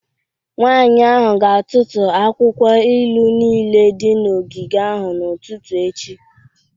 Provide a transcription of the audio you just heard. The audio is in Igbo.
Nwanyị ahụ ga-atụtụ akwụkwọ ilu niile dị n'ogige ahụ n'ụtụtụ echi